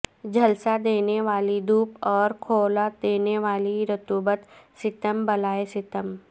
جھلسا دینے والی دھوپ اور کھولا دینے والی رطوبت ستم بالائے ستم